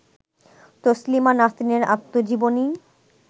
তসলিমা নাসরিনের আত্মজীবনী